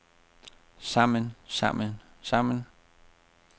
sammen sammen sammen